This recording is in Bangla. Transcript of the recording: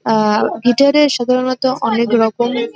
আ গিটার -এ সাধারণত অনেক রকম --